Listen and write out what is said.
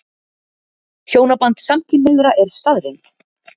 Hjónaband samkynhneigðra er staðreynd.